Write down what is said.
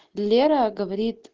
лера говорит